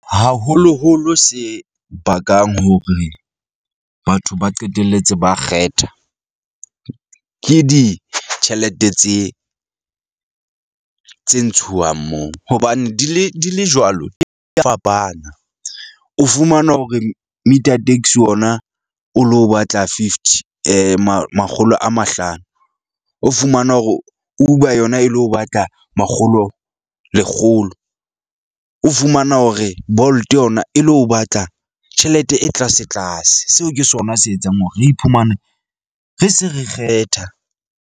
Haholoholo se bakang hore batho ba qetelletse ba kgetha, ke ditjhelete tse tse ntshuwang moo hobane di le di le jwalo, fapana. O fumanwa hore meter taxi ona o lo batla fifty makgolo a mahlano. O fumana hore Uber yona e lo batla makgolo lekgolo. O fumana hore Bolt yona e lo batla tjhelete e tlase tlase. Seo ke sona se etsang hore re iphumane re se re kgetha.